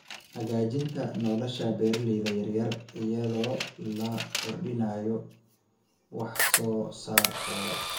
Hagaajinta nolosha beeralayda yar yar iyadoo la kordhinayo wax soo saarkooda.